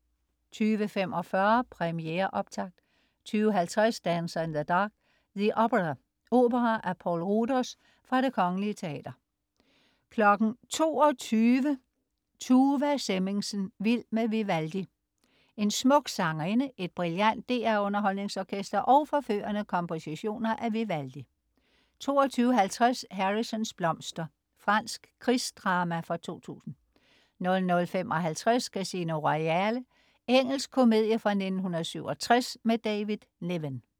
20.45 Premiere optakt 20.50 Dancer in the dark, The Opera. Opera af Poul Ruders. Fra Det Kongelige Teater 22.00 Tuva Semmingsen. Vild med Vivaldi. En smuk sangerinde, et brillant DR UnderholdningsOrkester og forførende kompositioner af Vivaldi 22.50 Harrisons blomster. Fransk krigsdrama fra 2000 00.55 Casino Royale. Engelsk komedie fra 1967 med David Niven